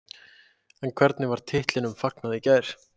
En hvernig var titlinum fagnað í gær?